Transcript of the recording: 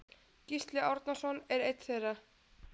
Gísli Árnason er einn þeirra.